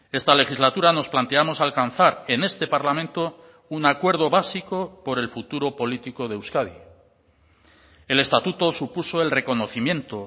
esta legislatura nos planteamos alcanzar en este parlamento un acuerdo básico por el futuro político de euskadi el estatuto supuso el reconocimiento